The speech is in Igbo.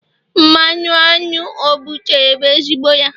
mmanụ aṅụ o butere bụ ezigbo ya